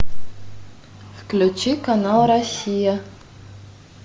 включи канал россия